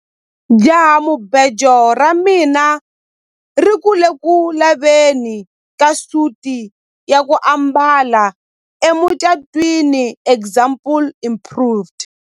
jahamubejo ra mina ri ku le ku laveni ka suti ya ku ambala emucatwiniexample improved